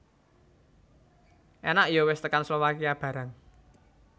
Enak yo wes tekan Slovakia barang